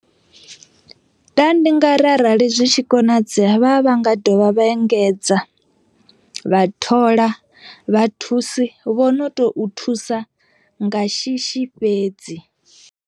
Nda ndi nga ri arali zwi tshi konadzea vha vha nga dovha vha engedza vha thola vha thusi vho no to thusa nga shishi fhedzi.